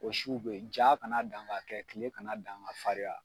O siw be ye ja kana dan ka kɛ kile kana dan ka fariya